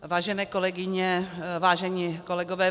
Vážené kolegyně, vážení kolegové.